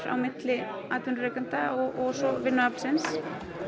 á milli atvinnurekenda og vinnuaflsins